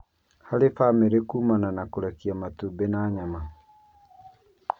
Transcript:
harĩ bamĩrĩ kũmana na kũrekia matumbĩ na nyama.